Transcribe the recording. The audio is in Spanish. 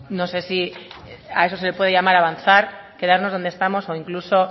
no sé si a eso se le puede llamar avanzar quedarnos donde estamos o incluso